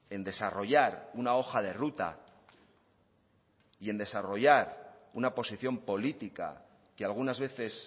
en desarrollar una hoja de ruta y en desarrollar una posición política que algunas veces